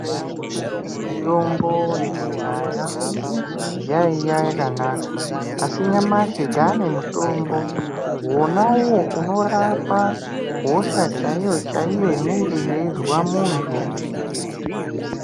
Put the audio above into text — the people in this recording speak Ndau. Mutombo yekudhaya yaiya yakanaka asi nyamashi taane mutombo wona uyo unorapa hosha chaiyo chaiyo inenge yeizwa muntu.